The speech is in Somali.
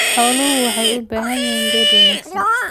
Xooluhu waxay u baahan yihiin kayd wanaagsan.